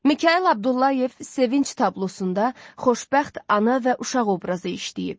Mikayıl Abdullayev Sevinc tablosunda xoşbəxt ana və uşaq obrazı işləyib.